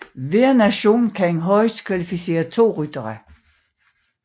Hver nation kan højst kvalificere to ryttere